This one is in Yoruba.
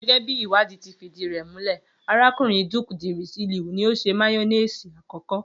Gé̩gé̩ bí ìwádìí ti fìdí rè̩ múlè̩, arákùnrin Duke de Richelieu ni ó s̩e máyó̩néèsì àkó̩kó̩